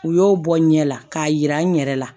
U y'o bɔ n ɲɛ la k'a yira n yɛrɛ la